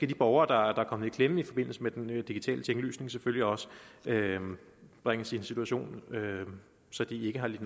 de borgere der er kommet i klemme i forbindelse med den digitale tinglysning selvfølgelig også bringes i en situation så de ikke har lidt